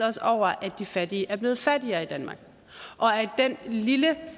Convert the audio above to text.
også over at de fattige er blevet fattigere i danmark og at den lille